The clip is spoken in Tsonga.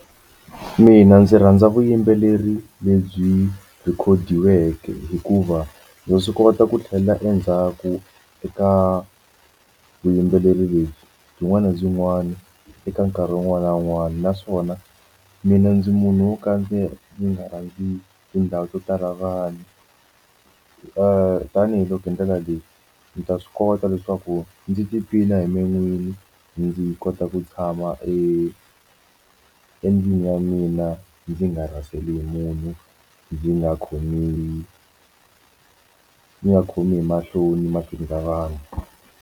Mina ndzi rhandza vuyimbeleri lebyi rhikhodiweke hikuva ndza swi kota ku tlhela endzhaku eka vuyimbeleri lebyi byin'wana na byin'wana eka nkarhi wun'wana na wun'wana naswona mina ndzi munhu wo ka ndzi nga rhandzi tindhawu to tala vanhu tanihiloko hi ndlela leyi ndzi ta swi kota leswaku ndzi tiphina hi me n'wini ndzi kota ku ku tshama endlwini ya mina ndzi nga rhaseli munhu ndzi nga khomiwi ndzi nga khomi hi mahloni mahlweni ka vanhu.